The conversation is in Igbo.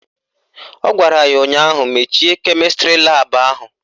Ọ gwara ya ụnyaahụ "Mechie kemịstrị laabụ ahụ"!